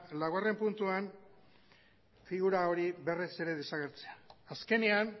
laugarren puntuan figura hori berriz ere desagertzea azkenean